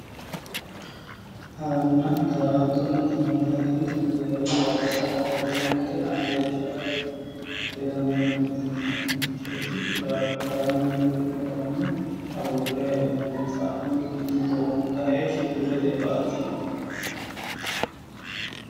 Hara daa'attonna darama hara yineemmoti darigunni dariga sa'ate daa'ato yaa iletenni la'ne daa'atatw yaaye darama yaa xoonqanni noorichonno adhiniki ba'ate yinayi